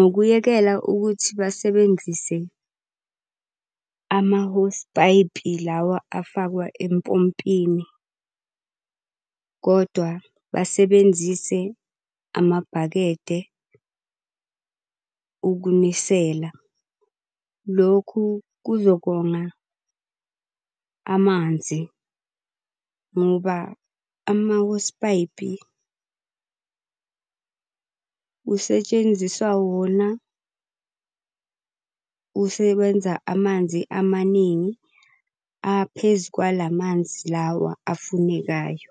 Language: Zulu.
ngokuyekela ukuthi basebenzise amahosipayipi lawa afakwa empompini, kodwa basebenzise amabhakede ukunisela Lokhu kuzokonga amanzi ngoba amahosipayipi, kusetshenziswa wona, usebenza amanzi amaningi aphezu kwa la manzi lawa afunekayo.